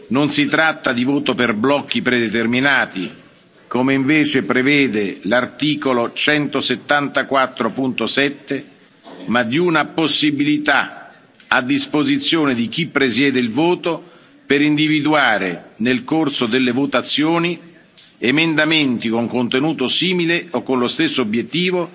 Non si tratta di voto per blocchi predeterminati, come invece prevede l'articolo 174, paragrafo 7, ma di una possibilità a disposizione di chi presiede il voto per individuare nel corso delle votazioni emendamenti con contenuto simile o con lo stesso obiettivo